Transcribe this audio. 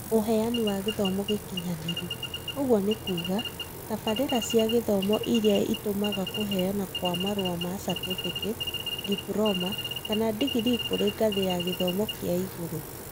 ũheana wa gĩthomo gĩkinyanĩru, ũguo nĩ kuuga, tabarĩra cia gũthoma irĩa itũmaga kũheana kwa marũa ma catĩbĩkĩti diploma, kana digirii kũrĩ ngathĩ ya gĩthomo kĩa igũrũ.